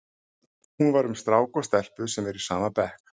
Hún var um strák og stelpu sem eru í sama bekk.